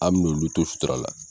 An min'olu to sutura la.